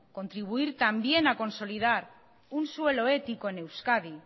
contribuir también a consolidad un suelo ético en euskadi